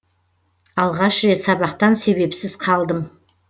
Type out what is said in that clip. алғаш рет сабақтан себепсіз қалдым